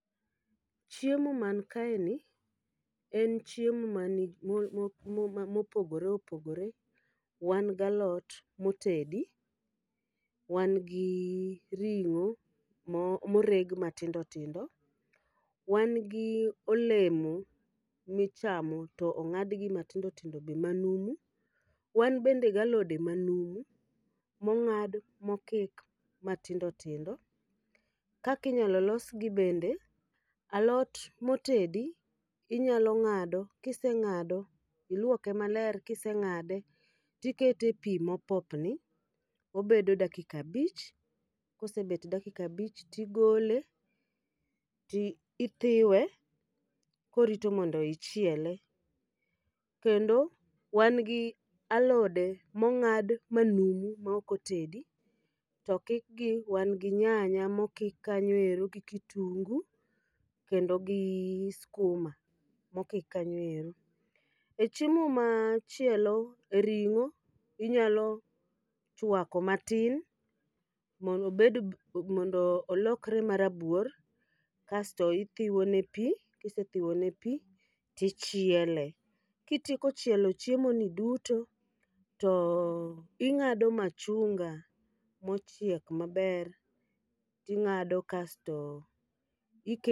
Chiemo man kae ni, en chiemo ma nig mo mo ma mopogore opogore. Wan galot motedi, wan gi ring'o mo moreg matindo tindo. Wan gi olemo michamo to ong'adgi matindo tindo be manumu. Wan bende galode be ma numu, mong'ad mokik matindo tindo. Kakinyalo losgi bende: alot motedi inyalo ng'ado, kiseng'ado iluoke maler kiseng'ade tikete e pi mopopni. Obedo dakika abich, kosebet dakika abich tigole ti ithiwe korito mondo ichiele. Kendo wan gi alode mong'ad manumu ma ok otedi, to kikgi wan gi nyanya mokik kanyoero gi kitungu, kendo gi skuma mokik kanyo ero. E chiemo ma chielo, ring'o inyalo chwako matin mondo obed b mondo olkre marabuor. Kasto ithiwone pi, kisethiwone pi, tichiele. Kitieko chielo chiemo ni duto, to ing'ado machunga mochiek maber. Ing'ado kasto ike.